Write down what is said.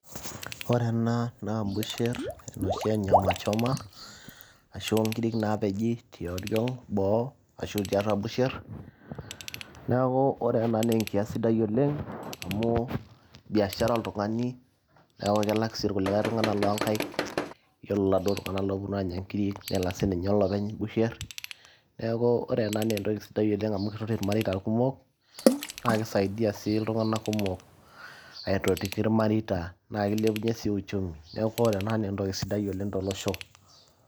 ore ena naa busherr enoshi e nyamachoma ashu onkirik naapeji tioriong boo ashu tiatua busherr neeku ore ena naa enkias sidai oleng amu biashara[cs[ oltung'ani neeku kelak sii irkulikae tung'anak loonkaik yiolo laduo tung'anak looponu anya nkirik nelak sininye olopeny busherr neeku ore ena naa entoki sidai oleng amu kitoti irmareita kumok naa kisaidia sii iltung'anak kumok aitotioki ilmareita naa kilepunyie sii uchumi neeku ore ena naa entoki sidai oleng tolosho.